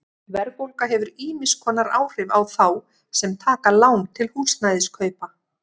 Verðbólga hefur ýmiss konar áhrif á þá sem taka lán til húsnæðiskaupa.